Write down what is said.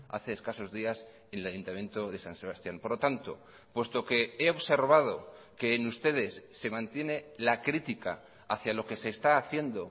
hace escasos días en el ayuntamiento de san sebastián por lo tanto puesto que he observado que en ustedes se mantiene la crítica hacia lo que se está haciendo